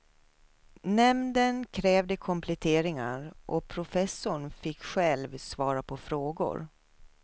Nämnden krävde kompletteringar och professorn fick själv svara på frågor.